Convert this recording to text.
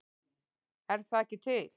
Er það ekki til?